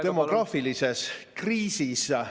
... demograafilises kriisis.